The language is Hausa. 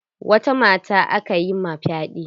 Wata mata aka yi ma fyaɗe?